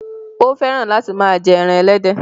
Ó fẹ́ràn láti máa jẹ́ ẹran ẹlẹ́dẹ̀